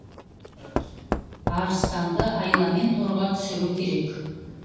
арыстанды айламен торға түсіру керек